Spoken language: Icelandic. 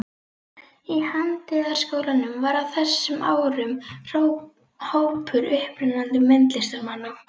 Í Handíðaskólanum var á þessum árum hópur upprennandi myndlistarmanna.